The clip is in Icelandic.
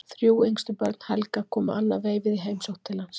Þrjú yngstu börn Helga komu annað veifið í heimsókn til hans.